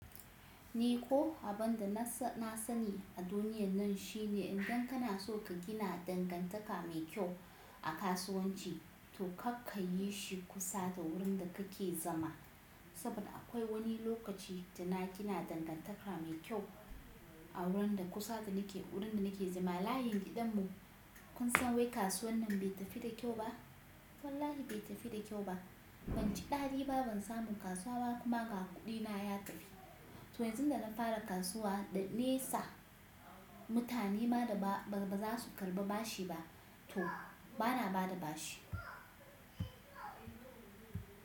Ni ko abinda na sani a duniyar nan shine idan kana so ka gina dangantaka mai kyau a kasuwanci to kar kai yi shi kusa da wurin da kake zama. Saboda akwai wani lokaci da na gina dangantaka mai kyau a wurin da kusa da nake wurin da nake zama. Layin gidan mu kun san wai kasuwar nan bai tafi da kyau ba. Wallahi bai tafi da kyau ba. Banji daɗi ba, ban samu kasuwa ba kuma ga kuɗina ya tafi. To yanzu da na fara kasuwa da nesa mutane ma da ba za su karɓi bashi ba to bana ba da bashi.